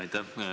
Aitäh!